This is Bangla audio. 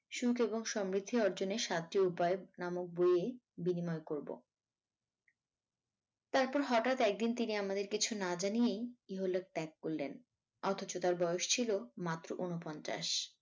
সুখ এবং সমৃদ্ধি অর্জনের সাতটি উপায় নামক বই বিনিময় করব তারপর হঠাৎ একদিন তিনি আমাদের কিছু না জানিয়েই ইহলোক ত্যাগ করলেন অথচ তার বয়স ছিল মাত্র ঊনপঞ্চাশ।